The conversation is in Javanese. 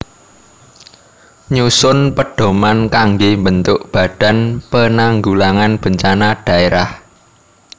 Nyusun pedhoman kanggé mbentuk Badan Penanggulangan Bencana Dhaérah